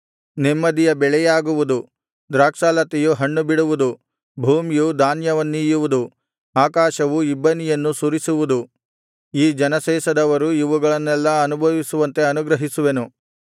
ನೆಮ್ಮದಿಯ ಬೆಳೆಯಾಗುವುದು ದ್ರಾಕ್ಷಾಲತೆಯು ಹಣ್ಣುಬಿಡುವುದು ಭೂಮಿಯು ಧಾನ್ಯವನ್ನೀಯುವುದು ಆಕಾಶವು ಇಬ್ಬನಿಯನ್ನು ಸುರಿಸುವುದು ಈ ಜನಶೇಷದವರು ಇವುಗಳನ್ನೆಲ್ಲಾ ಅನುಭವಿಸುವಂತೆ ಅನುಗ್ರಹಿಸುವೆನು